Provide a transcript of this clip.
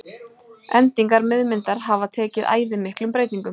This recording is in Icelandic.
endingar miðmyndar hafa tekið æði miklum breytingum